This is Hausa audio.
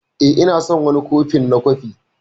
Eh, Ina son wani kofin na kofi.